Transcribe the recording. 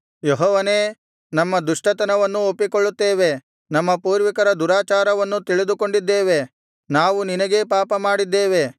ಯೆಹೋವನೇ ನಮ್ಮ ದುಷ್ಟತನವನ್ನೂ ಒಪ್ಪಿಕೊಳ್ಳುತ್ತೇವೆ ನಮ್ಮ ಪೂರ್ವಿಕರ ದುರಾಚಾರವನ್ನೂ ತಿಳಿದುಕೊಂಡಿದ್ದೇವೆ ನಾವು ನಿನಗೇ ಪಾಪಮಾಡಿದ್ದೇವೆ